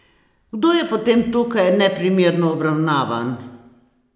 Kdo je potem tukaj neprimerno obravnavan?